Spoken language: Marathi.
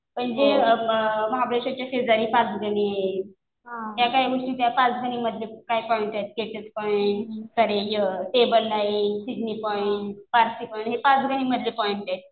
पण जे महाबळेशवरच्या शेजारी पाचगणी आहे. त्या काही गोष्टी त्या पाचगणीमधले काही पॉईंट्स आहेत. स्टेट्स पॉईंट परत tableland, Sydney point, Parsi point हे पाचगणीमधले पॉईंट आहे.